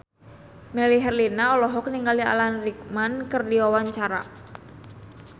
Melly Herlina olohok ningali Alan Rickman keur diwawancara